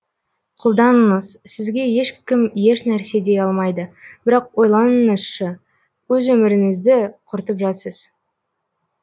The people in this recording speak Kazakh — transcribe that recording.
қолданыңыз сізге ешкім еш нәрсе дей алмайды бірақ ойланыңызшы өз өмірінізді құртып жатсыз